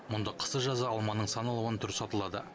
мұнда қысы жазы алманың сан алуан түрі сатылады